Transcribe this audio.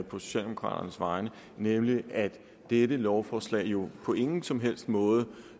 på socialdemokraternes vegne nemlig at dette lovforslag jo på ingen som helst måde